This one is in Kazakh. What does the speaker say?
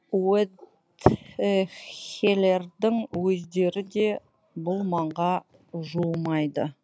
удэхелердің өздері де бұл маңға жуымайды